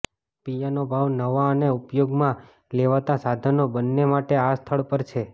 piano ભાવ નવા અને ઉપયોગમાં લેવાતા સાધનો બંને માટે આ સ્થળ પર છે